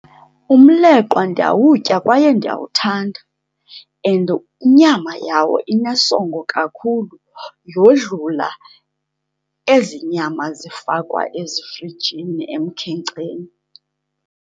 Umleqwa ndiyawutya kwaye ndiyawuthanda, and inyama yawo inesongo kakhulu yodlula ezi nyama zifakwa ezifrijini emkhenkceni.